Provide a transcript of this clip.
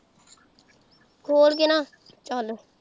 ਖੋਲ ਕੇ ਨਾ ਚੱਲ।